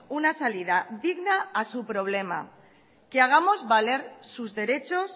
una salida digna a su problema que hagamos valer sus derechos